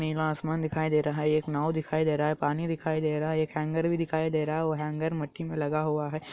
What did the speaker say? नीला आसमान दिखाई दे रहा हे एक नाव दिखाई दे रहा हे पाणी दिखाई दे रहा एक हेंगर भी दिखाई दे रहा हे वो हेंगर मिट्टी में लगा हुआ हे |